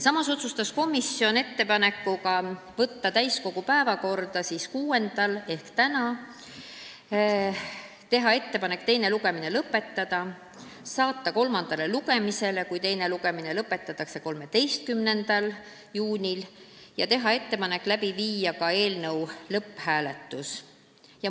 Komisjon otsustas teha ettepaneku võtta eelnõu täiskogu päevakorda 6. juuniks ehk tänaseks, teha ettepaneku teine lugemine lõpetada, saata eelnõu kolmandale lugemisele, kui teine lugemine lõpetatakse, 13. juuniks ning teha ettepaneku viia läbi eelnõu lõpphääletus.